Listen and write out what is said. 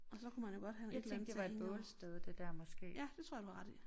Og så kunne man jo godt have et eller andet til at hænge over ja det tror jeg du har ret i